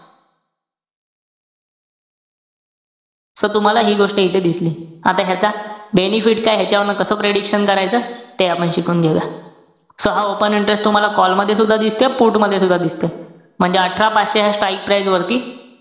So तुम्हाला हि गोष्ट इथे दिसली. आता ह्याचा benefit काये? ह्याच्यावरनं कस prediction करायचं? ते आपण शिकून घेऊया. So हा open interes तुम्हाला call मध्ये सुद्धा दिसतोय, put मध्ये सुद्धा दिसतोय. म्हणजे अठरा पाचशे ह्या strike price वरती,